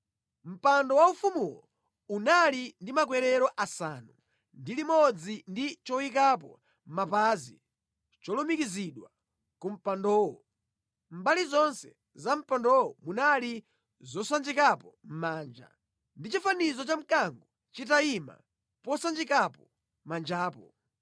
Mpando waufumuwo unali ndi makwerero asanu ndi limodzi ndi choyikapo mapazi cholumikizidwa ku mpandowo. Mʼmbali zonse za mpandowo munali zosanjikapo manja, ndi chifanizo cha mkango chitayima posanjikapo manjapo.